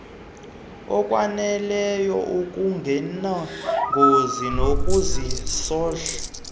okwaneleyo okungenangozi nokunesondlo